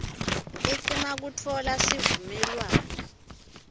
iccma kutfola sivumelwano